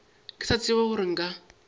ke sa tsebe gore nka